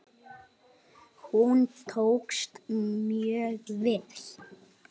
Hún tókst mjög vel.